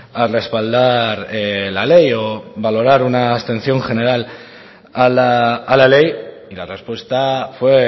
a respaldar la ley o valorar una abstención general a la ley y la respuesta fue